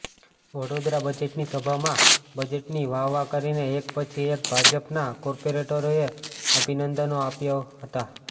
વડોદરાઃ બજેટની સભામાં બજેટની વાહ વાહ કરીને એક પછી એક ભાજપના કોર્પાેરેટરોએ અભિનંદનો આપ્યા હતા